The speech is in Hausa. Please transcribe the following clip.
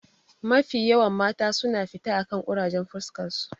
Mafi yawan mata suna mita akan ƙurajen fuskarsu.